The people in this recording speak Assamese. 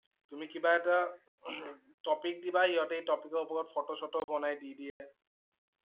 তুমি কিবা এটা হম topic দিবা হিহঁতে এই topic ৰ ওপৰত ফটো-ছটো বনাই দি দিয়ে।